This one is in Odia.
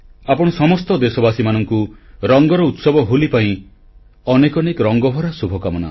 ଆପଣ ସମସ୍ତ ଦେଶବାସୀମାନଙ୍କୁ ରଙ୍ଗର ଉତ୍ସବ ହୋଲି ପାଇଁ ଅନେକ ଅନେକ ରଙ୍ଗଭରା ଶୁଭକାମନା